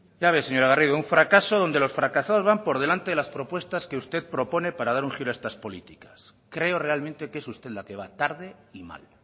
ya ves señora garrido un fracaso donde los fracasados van por delante de las propuestas que usted propone para dar un giro a estas políticas creo realmente que es usted la que va tarde y mal